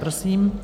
Prosím.